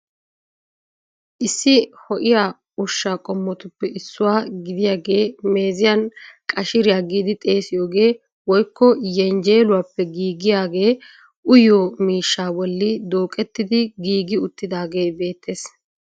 Issi ho'iyaa ushsha qommotuppe issuwa gidiyaagee meeziyaa qashiriyaa giidi xeessiyooge woykko yenjjeluwappe giigiyaage uyyiyo miishsha bolli duuqettidi giigi uttidaagee beettees.